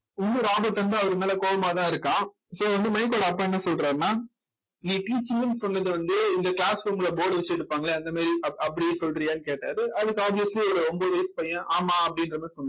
இன்னும் ராபர்ட் வந்து அவர்மேல கோவமாதான் இருக்கான் so வந்து மைக்கோட அப்பா என்ன சொல்றாருன்னா நீ teaching ன்னு சொன்னது வந்து இந்த class room ல board வச்சு எடுப்பாங்களே அந்த மாதிரி அப் அப்படி சொல்றியான்னு கேட்டாரு அதுக்கு obviously இதுல ஒன்பது வயசு பையன் ஆமா அப்படின்ற மாதிரி சொன்னான்